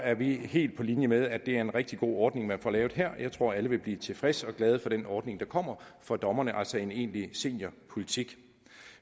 er vi helt på linje med synes det er en rigtig god ordning man får lavet her og jeg tror alle vil blive tilfredse med og glade for den ordning der kommer for dommerne altså en egentlig seniorpolitik